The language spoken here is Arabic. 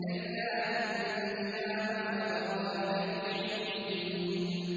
كَلَّا إِنَّ كِتَابَ الْأَبْرَارِ لَفِي عِلِّيِّينَ